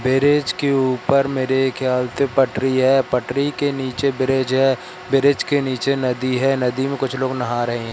Berries के ऊपर मेरे ख्याल से पटरी है पटरी के नीचे ब्रिज है ब्रिज के नीचे नदी है नदी में कुछ लोग नहा रहे हैं।